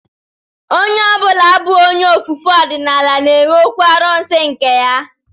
Onye ọ bụla bụ onye ofufe ọdịnala na-enwe okwu arụsị nke ya